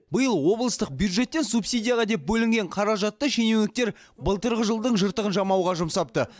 биыл облыстық бюджеттен субсидияға деп бөлінген қаражатты шенеуніктер былтырғы жылдың жыртығын жамауға жұмсапты